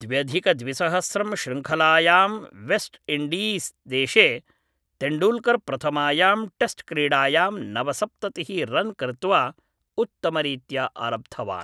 द्व्यधिकद्विसहस्रं श्रृङ्खलायां वेस्ट् इन्डीस्देशे तेण्डूल्कर् प्रथमायां टेस्ट्क्रीडायां नवसप्ततिः रन् कृत्वा उत्तमरीत्या आरब्धवान्